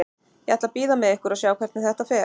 Ég ætla að bíða með ykkur og sjá hvernig þetta fer.